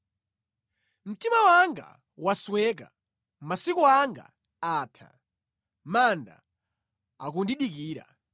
“Mtima wanga wasweka, masiku anga atha, manda akundidikira.